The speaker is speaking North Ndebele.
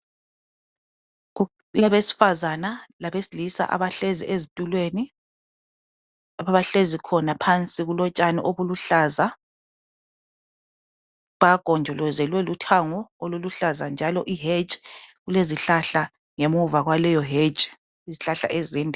Kulabesifazana labesilisa abahlezi ezitulweni lapho abahlezi khona phansi kulotshani obuluhlaza bagonjolozelwe luthango oluluhlaza; njalo i-hedge kulezihlahla ngemuva kwaleyo hedge izihlahla ezinde.